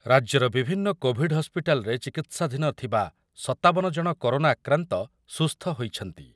ରାଜ୍ୟର ବିଭିନ୍ନ କୋଭିଡ୍ ହସ୍ପିଟାଲରେ ଚିକିତ୍ସାଧୀନ ଥିବା ସତାବନ ଜଣ କରୋନା ଆକ୍ରାନ୍ତ ସୁସ୍ଥ ହୋଇଛନ୍ତି ।